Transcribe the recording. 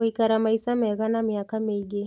Gũikara maica mega na mĩaka mĩingĩ